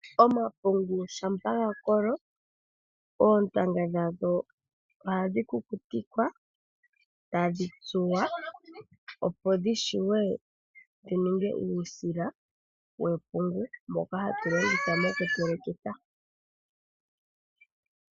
Omapungu shampa ga kolo, oontanga dhago ohadhi kukutikwa, tadhi tsuwa, opo dhi shiwe dhininge uusila wepungu mboka hatu longitha moku telekitha.